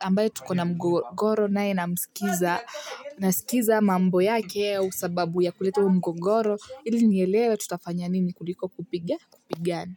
ambaye tukona mgogoro nae na msikiza na sikiza mambo yake ya sababu ya kuletu mgogoro ili nyelele tutafanya nini kuliko kupigana. Kupigan.